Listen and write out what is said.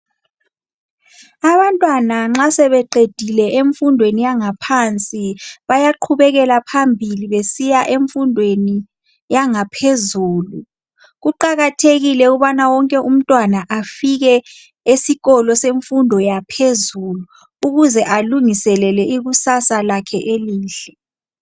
Abantwana nxa sebeqedile emfundweni yangaphansi bayaqhubekela phambili besiya emfundweni yangaphezulu. Kuqakathekile ukubana wonke umntwana afike esikolo semfundo yangaphezulu ukuze alungiselele ikusasa lakhe elihle.